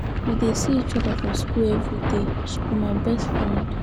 We dey see each other for shool everyday. She be my best friend.